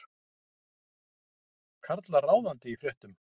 Karlar ráðandi í fréttum